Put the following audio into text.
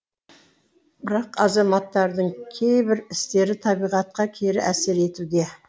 бірақ азаматтардың кейбір істері табиғатқа кері әсер етуде